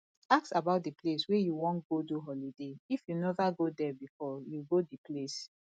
ask about di place wey you wan go do holiday if you nova go there before you go di place